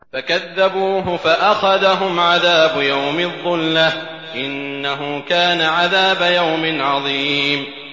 فَكَذَّبُوهُ فَأَخَذَهُمْ عَذَابُ يَوْمِ الظُّلَّةِ ۚ إِنَّهُ كَانَ عَذَابَ يَوْمٍ عَظِيمٍ